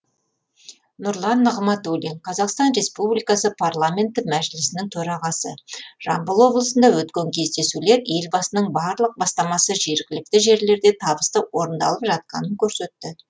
нұрлан нығматулин қазақстан республикасы парламенті мәжілісінің төрағасы жамбыл облысында өткен кездесулер елбасының барлық бастамасы жергілікті жерлерде табысты орындалып жатқанын көрсетті